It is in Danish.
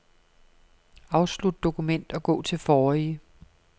Afslut dokument og gå til forrige.